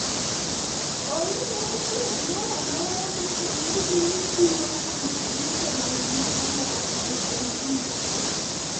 Onge yor thieth moro amora moseyud ni tiyo kuom ji duto ma nigi tuwo mar NNP.